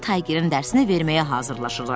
Dedi ki, Tayqerin dərsini verməyə hazırlaşırlar.